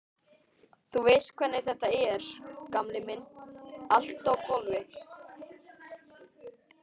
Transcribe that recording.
Þú veist hvernig þetta er, gamli minn, allt á hvolfi.